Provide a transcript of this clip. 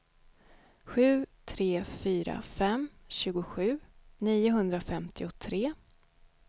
sju tre fyra fem tjugosju niohundrafemtiotre